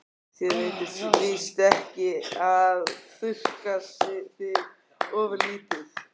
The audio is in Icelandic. Þér veitir víst ekki af að þurrka þig ofurlítið.